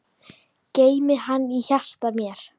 Geymi hana í hjarta mér.